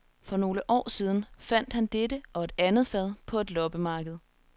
For nogle år siden fandt han dette og et andet fad på et loppemarked.